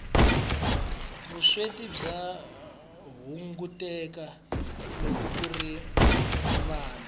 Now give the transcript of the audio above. vusweti bya hunguteka loko kuri ni mali